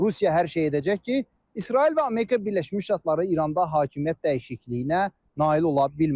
Rusiya hər şey edəcək ki, İsrail və Amerika Birləşmiş Ştatları İranda hakimiyyət dəyişikliyinə nail ola bilməsin.